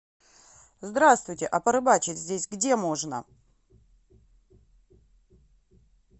здравствуйте а порыбачить здесь где можно